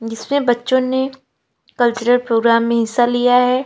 जिसमे बच्चों ने कल्चरल प्रोग्राम में हिस्सा लिया है।